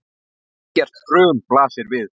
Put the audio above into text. Algert hrun blasir við.